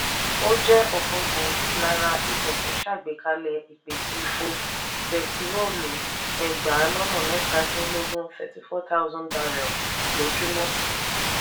ó jẹ́ ọ̀kan gbòógì lára ikọ̀ tó ṣàgbékalẹ̀ ìpèsè epo bẹtiróòlù ẹgbàá lọ́nà mẹ́ta -dín -lógún (34000 barrel) lójúmọ́.